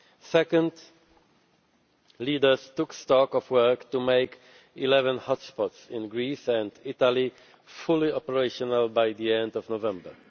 Second, leaders took stock of work to make eleven hotspots in Greece and Italy fully operational by the end of November.